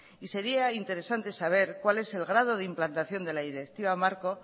y sería interesante saber cuál es el grado de implantación de la directiva marco